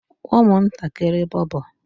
umuntakiri bobo